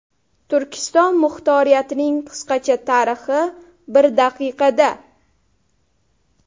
Turkiston muxtoriyatining qisqacha tarixi bir daqiqada.